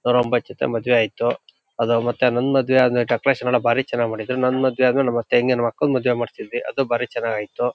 ನುರೋಮಬಥ್ ಜೊತೆ ಮದುವೆ ಆಯಿತು. ಅದು ಮತ್ತೆ ನನ್ನ ಮದ್ವೆ ಆದ್ಮೇಲ್ ಡೆಕೊರೇಶನ್ ಎಲ್ಲಾ ಭಾರಿ ಚೆನ್ನಾಗ್ ಮಾಡಿದ್ರು ನನ್ನ ಮದುವೆ ಆದ್ಮೇಲೆ ನಮ್ ಅತ್ತೆ ನಮ್ ಅಕ್ಕನ ಮದುವೆ ಮಾಡ್ಸಿದ್ವಿ ಅದು ಭಾರಿ ಚೆನ್ನಾಗ್ ಆಯಿತು.